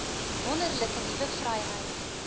wonderlike nuwe vryheid